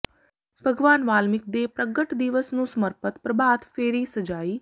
ਭਗਵਾਨ ਵਾਲਮੀਕ ਦੇ ਪ੍ਰਗਟ ਦਿਵਸ ਨੂੰ ਸਮਰਪਿਤ ਪ੍ਰਭਾਤ ਫੇਰੀ ਸਜਾਈ